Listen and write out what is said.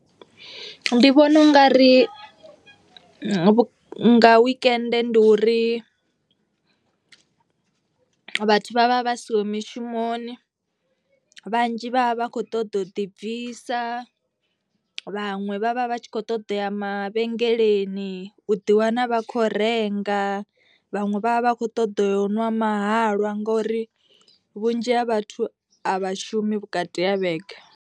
Ndi vhona u nga ri nga nga wekende ndi uri vhathu vha vha vha siho mishumoni. Vhanzhi vha vha vha kho ṱoḓa u ḓibvisa vhaṅwe vhavha vhatshi kho ṱoḓa uya mavhengeleni u ḓi wana vha kho renga. Vhaṅwe vha vha vha kho ṱoḓa u ṅwa mahalwa ngori vhunzhi ha vhathu a vha shumi vhukati ha vhege.